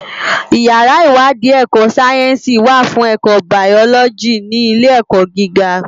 Iyàrá iwàdí èkò sáyènsí wá fún èkò báyòlògí ni ilé èkò gigá